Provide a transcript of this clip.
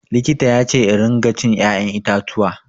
Likita yace in ringa cin ya'yan itatuwa.